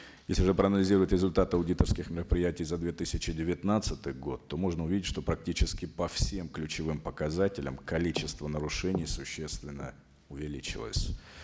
если же проанализировать результат аудиторских мероприятий за две тысячи девятнадцатый год то можно увидеть что практически по всем ключевым показателям количество нарушений существенно увеличилось